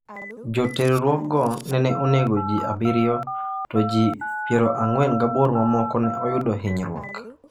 Joterruokgo nene onego ji 7 to ji 48 mamoko ne oyudo hinyruok.